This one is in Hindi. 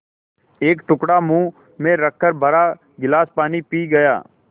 एक टुकड़ा मुँह में रखकर भरा गिलास पानी पी गया